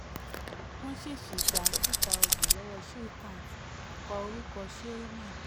fourteen wọ́n ṣẹ̀ ṣì gba two thousand lọ́wọ́ shrikant kọ orúkọ shriman.